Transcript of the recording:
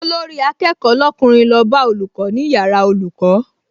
Olórí-akẹ́kọ̀ọ́ lọ́kùnrin lọ bá olùkọ́ ní yàrá olùkọ́